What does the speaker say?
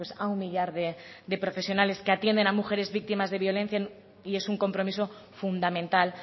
a un millar de profesionales que atienden a mujeres víctimas de violencia y es un compromiso fundamental